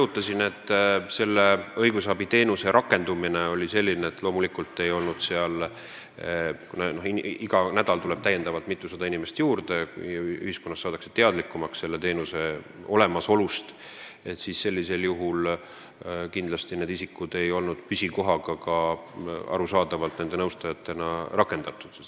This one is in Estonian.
Kuna selle õigusabiteenuse rakendumine oli selline, nagu ma enne kirjeldasin – igal nädalal tuleb mitusada inimest juurde, kuivõrd ühiskonnas saadakse teadlikumaks selle teenuse olemasolust –, siis loomulikult ei olnud need isikud rakendatud püsikohaga nõustajatena.